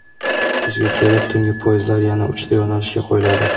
Kuzga kelib tungi poyezdlar yana uchta yo‘nalishga qo‘yiladi.